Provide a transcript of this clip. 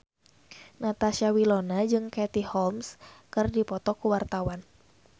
Natasha Wilona jeung Katie Holmes keur dipoto ku wartawan